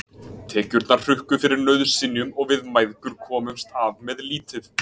Tekjurnar hrukku fyrir nauðsynjum og við mæðgur komumst af með lítið.